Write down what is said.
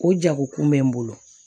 O jago kun bɛ n bolo